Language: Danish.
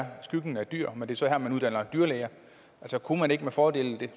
er skyggen af dyr men det er så her man uddanner dyrlæger kunne man ikke med fordel